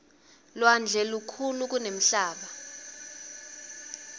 lwandle lukhulu kunemhlaba